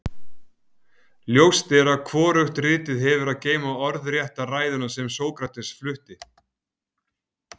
ljóst er að hvorugt ritið hefur að geyma orðrétta ræðuna sem sókrates flutti